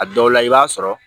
A dɔw la i b'a sɔrɔ